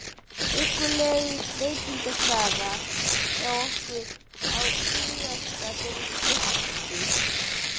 huggulega veitingastað okkar á Tuttugasta og fyrsta Austur